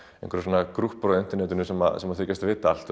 einhverjir grúppur á internetinu sem sem þykjast vita allt